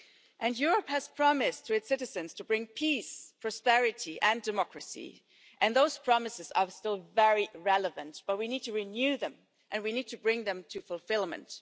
And Europe has promised its citizens to bring peace, prosperity and democracy, and those promises are still very relevant but we need to renew them and we need to bring them to fulfilment.